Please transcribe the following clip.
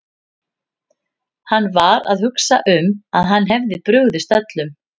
Hann var að hugsa um að hann hefði brugðist öllum.